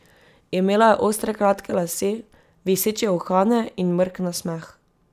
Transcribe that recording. Imela je ostre kratke lase, viseče uhane in mrk nasmeh.